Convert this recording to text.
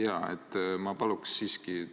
Jaa, ma paluksin siiski vastust.